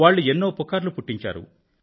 వాళ్ళు ఎన్నో పుకార్లు పుట్టించారు